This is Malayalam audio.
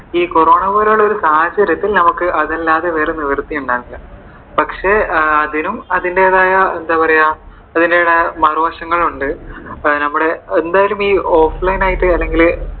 ഈ കൊറോണ പോലെയുള്ള സാഹചര്യത്തിൽ നമുക്കു അതല്ലാതെ വേറെ നിവർത്തി ഉണ്ടായിരുന്നില്ല. പക്ഷെ അതിനും അതിന്റെതായ എന്താ പറയുവാ അതിന്റെതായ മറുവശങ്ങളുണ്ട്. എന്തായാലും നമ്മുടെ ഈ offline ആയിട്ടു